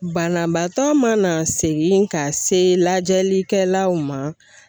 Banabaatɔ mana segin ka se lajɛlikɛlaw ma.